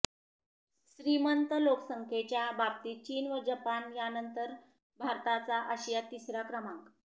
श्रीमंत लोकसंख्येच्या बाबतीत चीन व जपान यानंतर भारताचा आशियात तिसरा क्रमांक